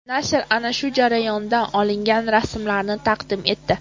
Nashr ana shu jarayondan olingan rasmlarni taqdim etdi.